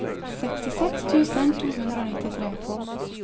sekstiseks tusen to hundre og nittitre